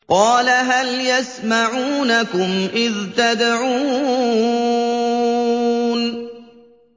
قَالَ هَلْ يَسْمَعُونَكُمْ إِذْ تَدْعُونَ